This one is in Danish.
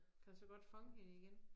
Kan du så godt fange hende igen?